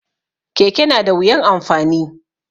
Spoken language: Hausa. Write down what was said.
Keke na da wuyan amfani da